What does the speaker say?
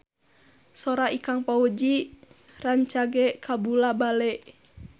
Sora Ikang Fawzi rancage kabula-bale